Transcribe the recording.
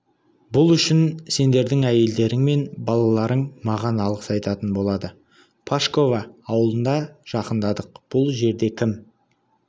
бұл үшін сендердің әйелдерің мен балаларың маған алғыс айтатын болады пашково ауылына жақындадық бұл жерде кім